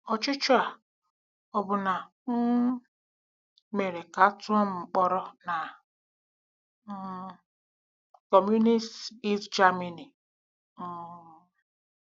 Ọchịchọ a ọbụna um mere ka a tụọ m mkpọrọ na um Kọmunist East Germany. um